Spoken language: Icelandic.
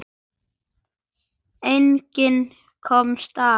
Enginn komst af.